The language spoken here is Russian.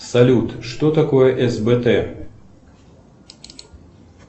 салют что такое сбт